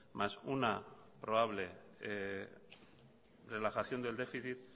más una probable relajación del déficit